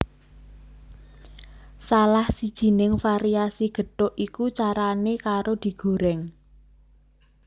Salah sijining variasi gethuk iku carané karo digorèng